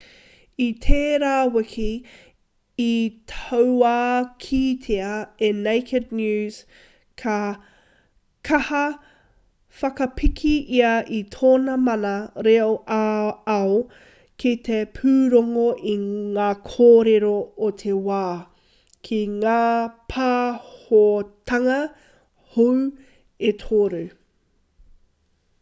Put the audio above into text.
i tērā wiki i tauākītia e naked news ka kaha whakapiki ia i tōna mana reo ā-ao ki te pūrongo i ngā kōrero o te wā ki ngā pāhotanga hou e toru